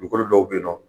Dugukolo dɔw be yen nɔ